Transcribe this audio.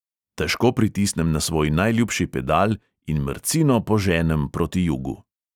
Težko pritisnem na svoj najljubši pedal in mrcino poženem proti jugu.